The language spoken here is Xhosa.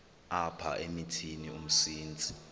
apha emithini umsintsi